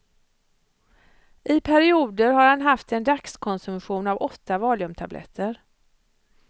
I perioder har han haft en dagskonsumtion av åtta valiumtabletter.